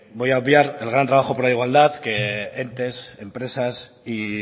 voy a obviar el gran trabajo por la igualdad que entes empresas y